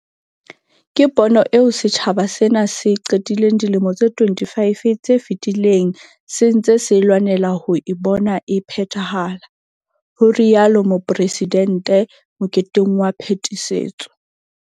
Ke pono eo setjhaba sena se qetileng dilemo tse 25 tse fetileng se ntse se lwanela ho e bona e phethahala, ho rialo Mopresidente moketeng wa phetisetso.